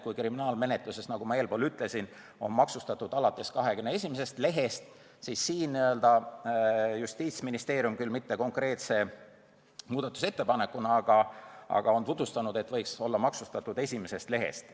Kui kriminaalmenetluses, nagu ma eespool ütlesin, on maksustatud alates 21. lehest, siis siin on Justiitsministeerium tutvustanud – mitte küll konkreetse muudatusettepanekuna, seda mõtet, et koopiad võiksid olla maksustatud alates esimesest lehest.